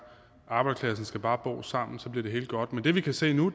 arbejderklassen skal bare bo sammen så bliver det hele godt men det vi kan se nu